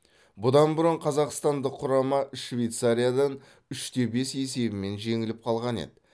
бұдан бұрын қазақстандық құрама швейцариядан үш те бес есебімен жеңіліп қалған еді